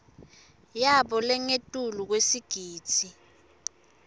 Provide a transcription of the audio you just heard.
yabo langengetulu kwesigidzi